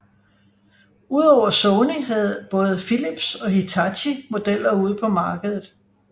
Udover Sony havde både Philips og Hitachi modeller ude på markedet